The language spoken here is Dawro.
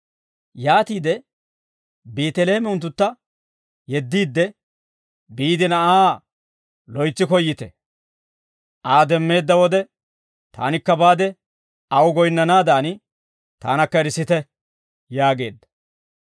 Yaatiide Beeteleeme unttuntta yeddiidde, «Biide na'aa loytsi koyyite; Aa demmeedda wode taanikka baade aw goyinnanaadan, taanakka erissite» yaageedda.